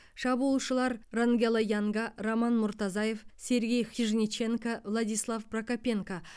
шабуылшылар рангело янга роман муртазаев сергей хижниченко владислав прокопенко